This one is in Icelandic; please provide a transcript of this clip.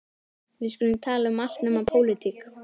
Við skulum tala um allt nema pólitík.